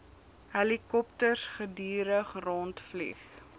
helikopters gedurig rondvlieg